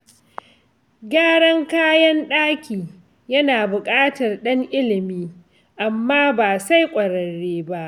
Gyaran kayan ɗaki yana buƙatar ɗan ilimi amma ba sai ƙwararre ba.